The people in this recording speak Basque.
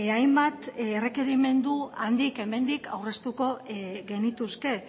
hainbat errekerimendu handik hemendik aurreztuko genituzke